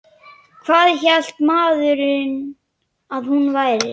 Hvað hélt maðurinn að hún væri?